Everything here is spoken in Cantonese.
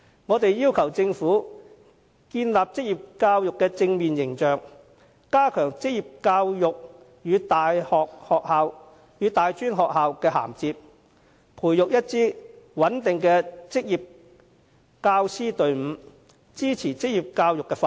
我們要求政府為職業教育建立正面形象、加強職業教育與大專院校的銜接，以及培育一支穩定的職業教師隊伍，支持職業教育的發展。